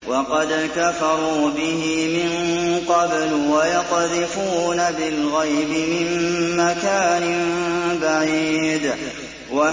وَقَدْ كَفَرُوا بِهِ مِن قَبْلُ ۖ وَيَقْذِفُونَ بِالْغَيْبِ مِن مَّكَانٍ بَعِيدٍ